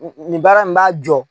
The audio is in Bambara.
Nin baara in b'a jɔ